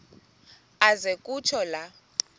aze kutsho la